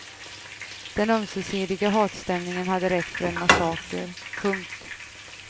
Den ömsesidiga hatstämningen hade räckt för en massaker. punkt